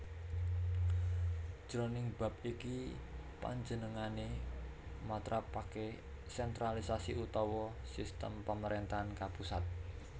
Jroning bab iki panjenengané matrapaké sentralisasi utawa sistem pamaréntahan kapusat